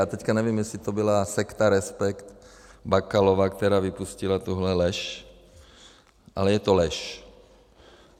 Já teď nevím, jestli to byla sekta Respekt, Bakalova, která vypustila tuhle lež, ale je to lež.